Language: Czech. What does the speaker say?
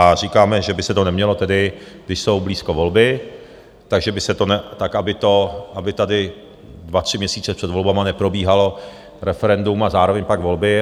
A říkáme, že by se to nemělo tedy, když jsou blízko volby, tak aby tady dva tři měsíce před volbami neprobíhalo referendum a zároveň pak volby.